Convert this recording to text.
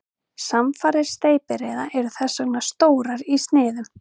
Samfarir steypireyða eru þess vegna stórar í sniðum.